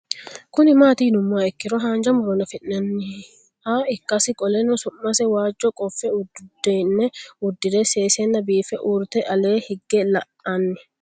Kuni mati yinumoha ikiro hanja muroni afi'nanniha ikasi qoleno su'mase waajo qofe udune udire sesena biife urite ale hige la'ani